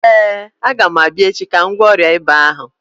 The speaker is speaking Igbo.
Ee, agam abịa echi ka m gwọọ ọrịa ịba ahụ.